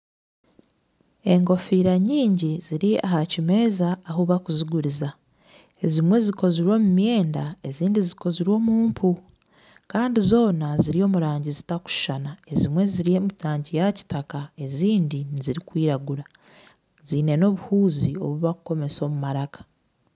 Enkofiira nyingi ziri aha kimeeza ahu barikuziguriza, ezimwe zikozirwe omu myenda ezindi zikozirwe omu mpu. Kandi zoona ziri omu rangi zitarikushushana. Ezimwe ziri omu rangi ya kitaka ezindi nezirikwiragura. Ziine n'obuhuuzi obu barikukomesa omu maraka.